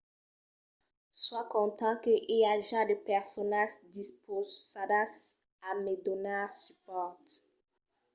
soi content que i aja de personas dispausadas a me donar supòrt